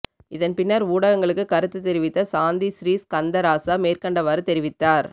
இதன் பின்னர் ஊடகங்களுக்கு கருத்து தெரிவித்த சாந்தி சிறீஸ்கந்தராசா மேற்கண்டவாறு தெரிவித்தார்